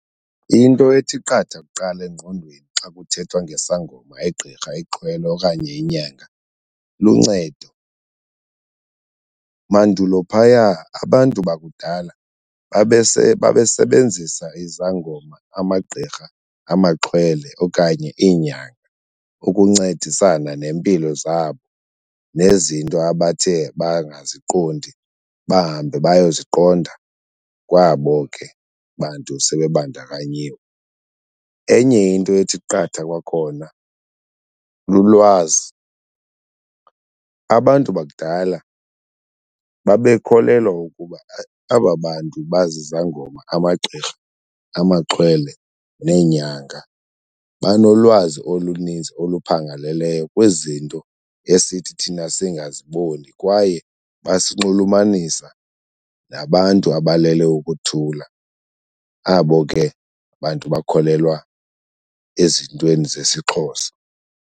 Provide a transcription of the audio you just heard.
Into ethi qatha kuqala engqondweni xa kuthethwa ngesangoma, igqirha, ixhwele okanye inyanga luncedo. Mandulo phaya abantu bakudala babesebenzisa izangoma, amagqirha, amaxhwele okanye iinyanga ukuncedisana neempilo zabo nezinto abathe bangaziqondi, bahambe bayoziqonda kwabo ke bantu sebe bandakanyiwe. Enye into ethi qatha kwakhona lulwazi. Abantu bakudala bekholelwa ukuba aba bantu bazizangoma, amagqirha, amaxhwele neenyanga banolwazi oluninzi oluphangaleleyo kwizinto esithi thina singaziboni kwaye basinxulumanisa nabantu abalele ukuthula, abo ke bantu bakholelwa ezintweni zesiXhosa.